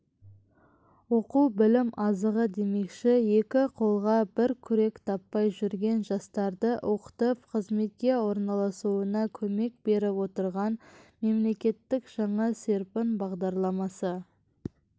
оқу білім азығы демекші екі қолға бір күрек таппай жүрген жастарды оқытып қызметке орналасуына көмек беріп отырған мемлекеттік жаңа серпін бағдарламасы